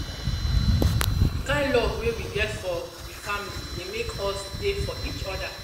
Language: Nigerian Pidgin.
di kind love wey we get for we family dey make us dey for eachoda.